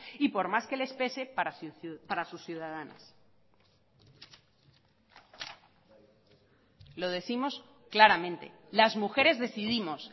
y por más que les pese para sus ciudadanas lo décimos claramente las mujeres decidimos